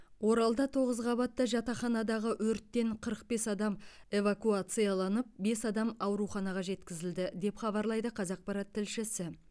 оралда тоғыз қабатты жатақханадағы өрттен қырық бес адам эвакуацияланып бес адам ауруханаға жеткізілді деп хабарлайды қазақпарат тілшісі